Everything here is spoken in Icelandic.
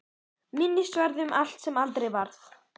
Minnisvarði um allt sem aldrei varð.